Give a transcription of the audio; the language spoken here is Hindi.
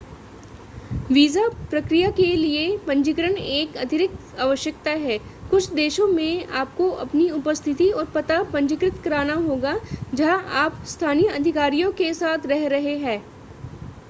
वीजा प्रक्रिया के लिए पंजीकरण एक अतिरिक्त आवश्यकता है कुछ देशों में आपको अपनी उपस्थिति और पता पंजीकृत करना होगा जहां आप स्थानीय अधिकारियों के साथ रह रहे हैं